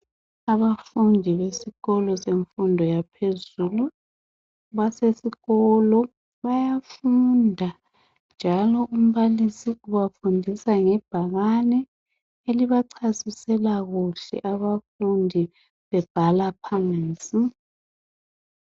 Abafundi besikolo semfundo yaphezulu basesikolo bayafunda njalo umbalisi ubafundisa ngebhakane elibachasisela kuhle abafundi bebhala phansi.